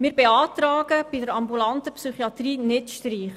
Wir beantragen, bei der ambulanten Psychiatrie keine Streichung vorzunehmen.